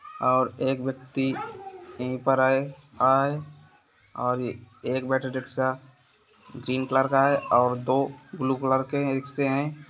और एक व्यक्ति यहीं पर आए-आए और एक बैटरी रिक्शा ग्रीन कलर का है और दो ब्लू कलर के रिक्शे हैं।